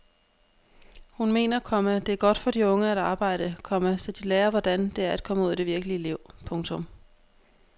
Hun mener, komma det er godt for de unge at arbejde, komma så de lærer hvordan det er at komme ud i det virkelige liv. punktum